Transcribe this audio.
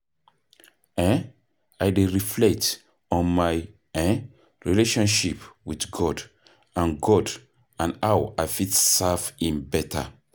um I dey reflect on my um relationship with God and God and how i fit serve him beta.